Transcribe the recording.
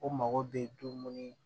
O mago bɛ dumuni